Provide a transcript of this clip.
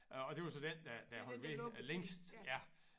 Og det var så den der der holdt ved længst ja